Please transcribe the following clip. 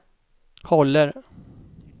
håller